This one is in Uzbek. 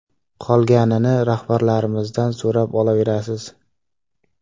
Qolganini rahbarlarimizdan so‘rab olaverasiz.